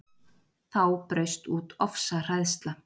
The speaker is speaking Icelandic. Þá braust út ofsahræðsla